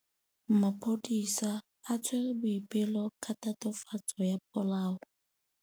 Maphodisa a tshwere Boipelo ka tatofatsô ya polaô.